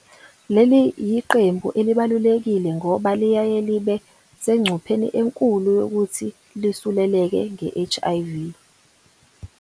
Leli yiqembu elibalulekile ngoba liyaye libe sengcupheni enkulu yokuthi lisuleleke nge-HIV.